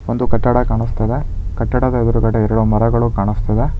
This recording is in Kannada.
ಒಂದು ಕಟ್ಟಡ ಕಾಣಿಸ್ತಿದೆ ಕಟ್ಟಡದ ಎದ್ರುಗಡೆ ಎರಡು ಮರಗಳು ಕಾಣಿಸ್ತಿದೆ.